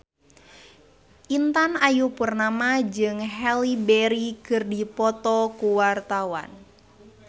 Intan Ayu Purnama jeung Halle Berry keur dipoto ku wartawan